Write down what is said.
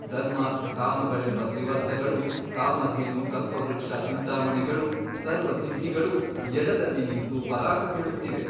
ಧರ್ಮಾರ್ಥಕಾಮಗಳೆಂಬ ತ್ರಿವರ್ತಗಳೂ ಕಾಮಧೇನು ಕಲ್ಪವೃಕ್ಷ ಚಿಂತಾಮಣಿಗಳೂ ಸರ್ವಸಿದ್ಧಿಗಳೂ ಎಡದಲ್ಲಿ ನಿಂತು ಪರಾಕು ಹೇಳುತ್ತಿವೆ.